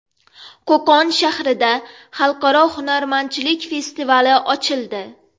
Qo‘qon shahrida Xalqaro hunarmandchilik festivali ochildi.